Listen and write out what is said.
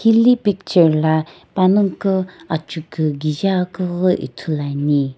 hili picture lo panaguo ajiku kijae akeu ghi ithuluane.